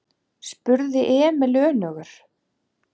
spurði Emil önugur.